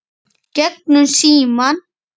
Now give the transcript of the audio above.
Gegnum símann.